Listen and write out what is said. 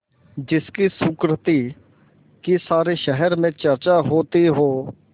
जिसकी सुकृति की सारे शहर में चर्चा होती हो